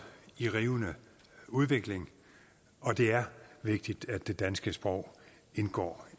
i rivende udvikling og det er vigtigt at det danske sprog indgår